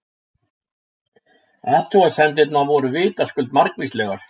Athugasemdirnar voru vitaskuld margvíslegar.